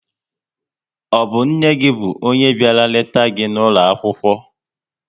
Ọ bụ nne gị bụ onye bịara leta gị n'ụlọ akwụkwọ?